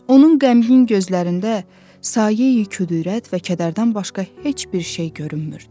Onun qəmgin gözlərində sayeyi küdürət və kədərdən başqa heç bir şey görünmürdü.